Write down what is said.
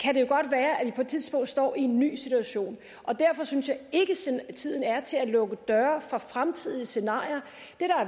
så et tidspunkt står i en ny situation derfor synes jeg ikke at tiden er til at lukke døre for fremtidige scenarier